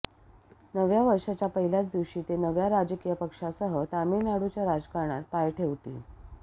नव्या वर्षाच्या पहिल्याच दिवशी ते नव्या राजकीय पक्षासह तामीळनाडूच्या राजकारणात पाय ठेवतील